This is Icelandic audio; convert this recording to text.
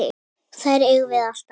Þær eigum við alltaf.